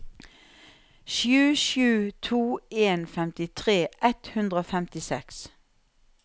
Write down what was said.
sju sju to en femtifire ett hundre og femtiseks